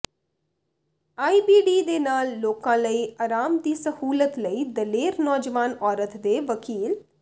IBD ਦੇ ਨਾਲ ਲੋਕਾਂ ਲਈ ਆਰਾਮ ਦੀ ਸਹੂਲਤ ਲਈ ਦਲੇਰ ਨੌਜਵਾਨ ਔਰਤ ਦੇ ਵਕੀਲ